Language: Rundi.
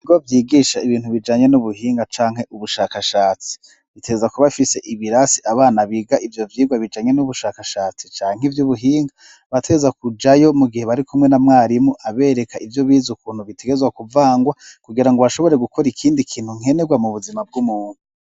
Ibo vyigisha ibintu bijanye n'ubuhinga canke ubushakashatsi biteza kubafise ibirasi abana biga ivyo vyirwa bijanye n'ubushakashatsi canke ivyo ubuhinga bateza kujayo mu gihe bari kumwe na mwarimu abereka ivyo bize ukuntu bitegezwa kuvangwa kugira ngo bashobore gukora ikindi kintu nkenerwa mu buzima bw'umuntu.